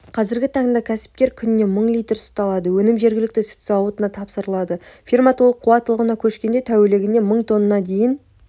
қазіргі таңда кәсіпкер күніне мың литр сүт алады өнім жергілікті сүт зауытына тапсырылады ферма толық қуаттылығына көшкенде тәулігіне мың тонна дейін